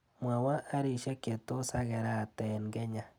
Mwawa arishek che tos akerate eng Kenya.